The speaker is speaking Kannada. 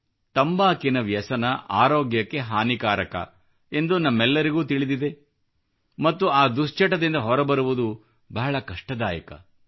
ತಂಬಾಕುವಿನ ವ್ಯಸನ ಆರೋಗ್ಯಕ್ಕೆ ಹಾನಿಕಾರಕ ಎಂದು ನಮ್ಮೆಲ್ಲರಿಗೂ ತಿಳಿದಿದೆ ಮತ್ತು ಆ ದುಶ್ಚಟದಿಂದ ಹೊರಬರುವುದು ಬಹಳ ಕಷ್ಟದಾಯಕವಾಗುತ್ತದೆ